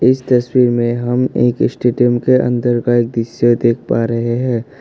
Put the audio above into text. इस तस्वीर में हम एक स्टेडियम के अंदर का एक दृश्य देख पा रहे हैं।